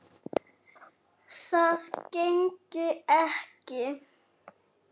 Það gengi ekki